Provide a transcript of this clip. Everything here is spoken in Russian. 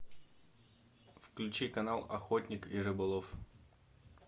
включи канал охотник и рыболов